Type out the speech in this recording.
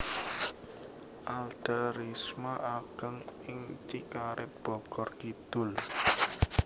Alda Risma ageng ing Cikaret Bogor Kidul